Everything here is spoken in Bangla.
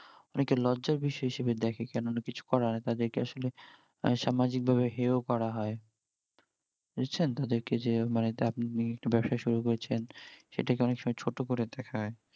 অনেকে লজ্জার বিষয় হিসেবে দ্যাখে কেননা কিছু করার, তাদের কে আসলে সামাজিক ভাবে হেও করা হয় বুঝছেন তাদের কে যে মানে তা আপনি একটা ব্যবসা শুরু করেছেন সেটাকে অনেক সময়ই ছোট করে দ্যাখা হয়